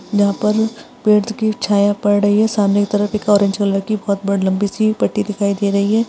यहाँ पर पेड़ की छाया पढ़ रही है। सामने की तरफ एक ऑरेंज कलर की बड़ी बहुत ब लंबी-सी पट्टी दिखाई दे रही है।